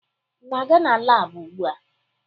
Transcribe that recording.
Ị na-aga na laabụ ugbua?